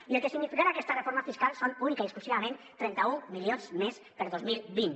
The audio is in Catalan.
i el que significarà aquesta reforma fiscal són únicament i exclusivament trenta un milions més per a dos mil vint